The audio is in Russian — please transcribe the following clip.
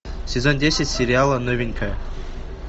сезон десять сериала новенькая